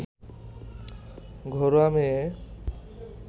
ঘরোয়া মেয়ে